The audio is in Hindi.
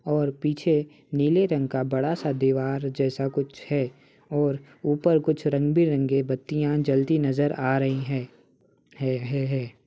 और पीछे नीले रंग का बड़ा सा दीवार जैसा कुछ है और ऊपर कुछ रंग बिरंगी बत्तियां जलती नजर आ रही हैं है है है |